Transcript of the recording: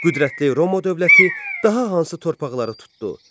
Qüdrətli Roma dövləti daha hansı torpaqları tutdu?